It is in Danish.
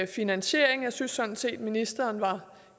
finansiering jeg synes sådan set at ministeren var